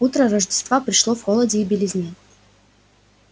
утро рождества пришло в холоде и белизне